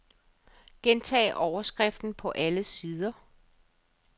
Gentag overskriften på alle sider.